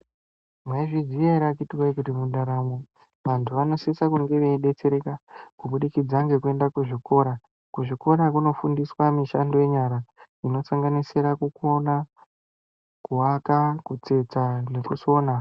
Mwaiziya ere vakiti woye kuti mundaramo vantu vanosisa kunge veidetsereka kubudikidza ngekuenda kuzvikora? Kuzvikora kunofundiswa mishando yenyara inosanganisira kukona kuwaka, kutsetsa ngekusona.